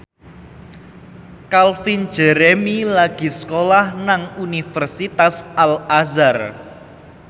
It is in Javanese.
Calvin Jeremy lagi sekolah nang Universitas Al Azhar